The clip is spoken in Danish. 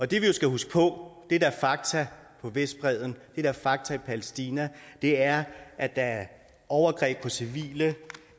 det vi jo skal huske på det der er fakta på vestbredden det der er fakta i palæstina er at der er overgreb på civile